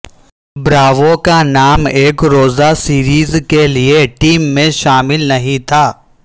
Bravo کا نام ایک روزہ سیریز کے لیے ٹیم میں شامل نہیں تھا